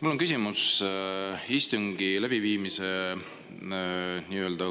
Mul on küsimus istungi läbiviimise nii-öelda